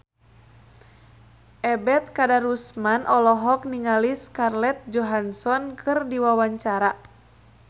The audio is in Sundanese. Ebet Kadarusman olohok ningali Scarlett Johansson keur diwawancara